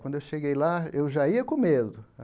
Quando eu cheguei lá, eu já ia com medo.